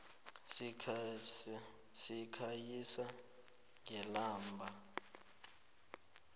sikhanyisa ngelamba